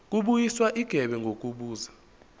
kubuyiswa igebe ngokubuza